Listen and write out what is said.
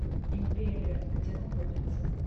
империя где находится